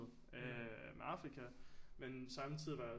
Øh med Afrika men samtidig var jeg